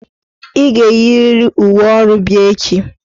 Ị ga-eyiriri uwe ọrụ bịa echi"!